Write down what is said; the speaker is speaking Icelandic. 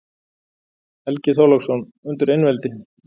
Helgi Þorláksson: Undir einveldi